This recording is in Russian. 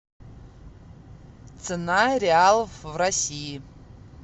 цена реалов в россии